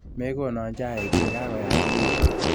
Mekono chaik chi kakoyachekitu.